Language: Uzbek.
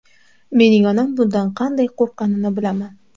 Mening onam bundan qanday qo‘rqqanini bilaman.